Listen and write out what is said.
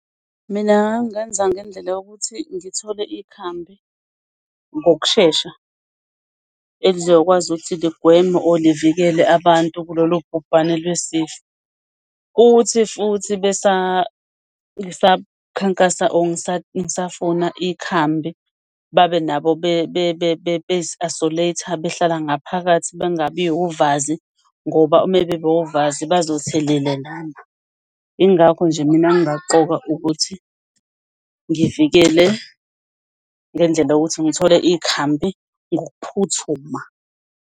Mina ngangenza ngendlela yokuthi ngithole ikhambi ngokushesha elizokwazi ukuthi ligweme or livikele abantu kulolu bhubhane lwesifo. Ukuthi futhi ngisakhankasa or ngisafuna ikhambi babenabo bezi-isolate-a behlala ngaphakathi, bangabi uvazi ngoba ume beba uvazi bazothelelelana. Ingakho nje mina ngingaqoka ukuthi ngivikele ngendlela yokuthi ngithole ikhambi ngokuphuthuma.